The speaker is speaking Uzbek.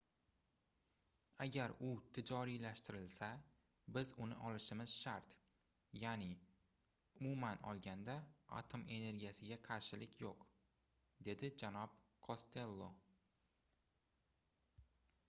agar u tijoriylashtirilsa biz uni olishimiz shart yaʼni umuman olganda atom energiyasiga qarshilik yoʻq - dedi janob kostello